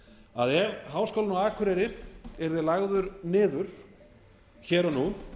að ef háskólinn á akureyri yrði lagður niður hér og nú